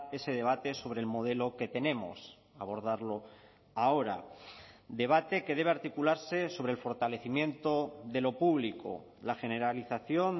ese debate sobre el modelo que tenemos abordarlo ahora debate que debe articularse sobre el fortalecimiento de lo público la generalización